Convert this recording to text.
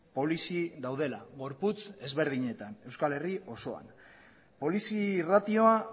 polizi daudela gorputz ezberdinetan euskal herri osoan polizi ratioa